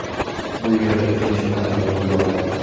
Bu yerdan uchinchi xonadonga yo‘l oldik.